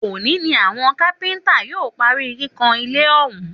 Òní ni àwọn kápẹ́ntà yóò parí kíkàn ilé ọ̀hún